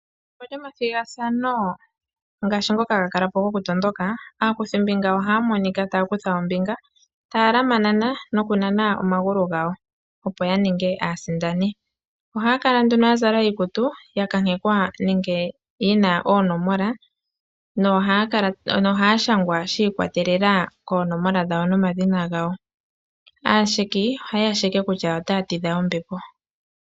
Pethimbo lyomathigathano ngaashi ngoka haga kala po gokutondoka, aakuthimbinga ohaya monika taya kutha ombinga taya lamanana nokunana omagulu gawo, opo ya ninge aasindani. Ohaya kala nduno ya zala iikutu ya kankekwa nenge yi na oonomola nohaya shangwa shi ikolelela koonomola dhawo nokomadhina gawo. Aasheki ohaye ya sheke kutya otaya tidha ombepo.